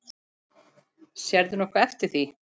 Sérðu nokkuð eftir því?